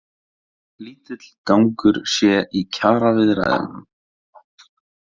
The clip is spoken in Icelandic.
Lítill gangur sé í kjaraviðræðunum